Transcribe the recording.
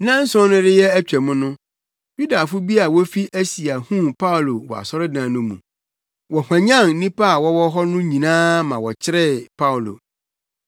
Nnanson no reyɛ atwam no, Yudafo bi a wofi Asia huu Paulo wɔ asɔredan no mu. Wɔhwanyan nnipa a wɔwɔ hɔ no nyinaa ma wɔkyeree Paulo.